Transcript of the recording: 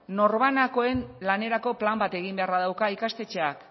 norbanakoen lanerako plan bat egin beharra dauka ikastetxeak